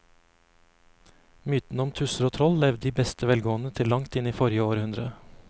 Mytene om tusser og troll levde i beste velgående til langt inn i forrige århundre.